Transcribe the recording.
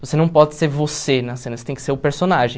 Você não pode ser você na cena, você tem que ser o personagem.